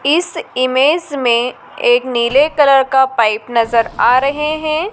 इस इमेज में एक नीले कलर का पाइप नजर आ रहे हैं।